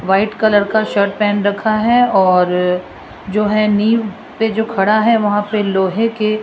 white colour का shirt पहन रखा हैं और जो है नींव पे जो खड़ा है वहां पे लोहे के --